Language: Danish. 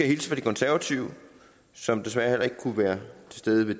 hilse fra de konservative som desværre heller ikke kunne være til stede ved